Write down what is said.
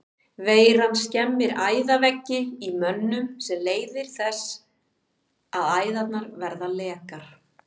Veiran skemmir æðaveggi í mönnum sem leiðir þess að æðarnar verða lekar.